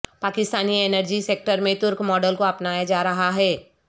Pakistani energy sector میں ترک model کو اپنایا جا رہا ہے